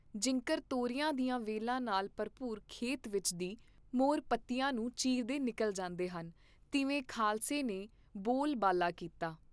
ਜਿੰਕਰ ਤੋਰੀਆਂ ਦੀਆਂ ਵੇਲਾਂ ਨਾਲ ਭਰਪੂਰ ਖੇਤ ਵਿਚ ਦੀ ਮੋਰ ਪੱਤਿਆਂ ਨੂੰ ਚੀਰਦੇ ਨਿਕਲ ਜਾਂਦੇ ਹਨ, ਤਿਵੇਂ ਖਾਲਸੇ ਨੇ ਬੋਲ ਬਾਲਾ ਕੀਤਾ